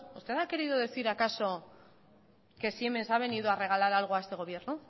usted ha querido decir acaso que siemens ha venido a regalar algo a este gobierno